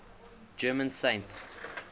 german saints